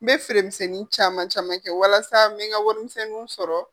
N be feere misɛnnin caman caman kɛ walasa n be n ka wari misɛnninw sɔrɔ.